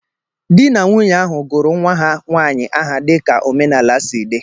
Dị na nwunye ahụ gụrụ nwa ha nwaanyị áhà dị ka omenaala si dị.